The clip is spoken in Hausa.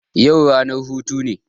Yau ranar hutu ne